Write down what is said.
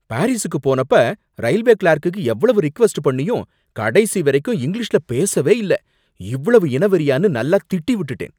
பாரிசுக்கு போனப்ப railway clerk எவ்வளவு request பண்ணியும் கடைசி வரைக்கும் இங்கிலீஷ்ல பேசவே இல்ல. இவ்வளவு இனவெறியான்னு நல்லா திட்டி விட்டுட்டேன்.